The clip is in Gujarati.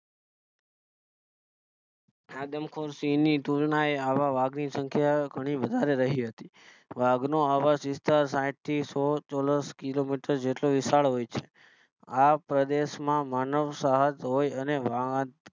આદમખોર સિંહ ની તુલનાએ આવા વાઘ ની સંખ્યા ઘણી વધારે રહી હતી વાઘ નો આવાસ વિસ્તાર એ સાહીઠ થી સોલ ચોરસ Kilometers જેટલો વિશાળ હોય છે આ પ્રદેશ માં માનવ સાથ હોય અને વાહન